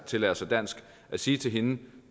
tillære sig dansk at sige til hende at